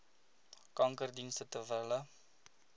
kankerdienste ter wille